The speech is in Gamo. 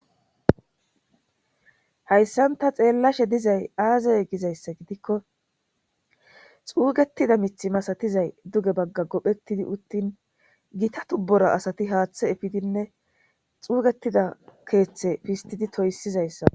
Hayssan ta xeellashe dizay aazay gizayssa gidikko xuugetida mithi masatizay duge bagga gophetidi uttin gita tubbora asati haaththe efidinne xuugetida keeththe fistidi toyssizayssa.